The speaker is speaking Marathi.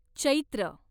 चैत्र